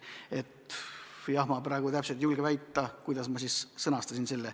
Ma praegu täpselt ei julge väita, kuidas ma selle sõnastasin.